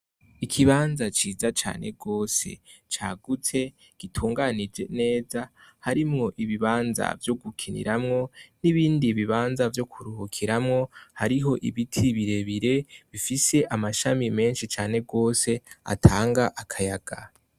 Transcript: Ikibanza ciza cane gose c'agutse gitunganije neza, harimw' ibibanza vyo gukiniramwo n'ibindi bibanza vyo kuruhukiramwo, harih' ibiti birebire bifis' amashami menshi cane gose, atang' akayaga.